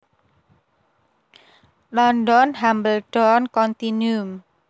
London Hambledon Continuum